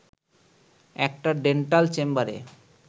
একটা ডেন্টাল চেম্বারে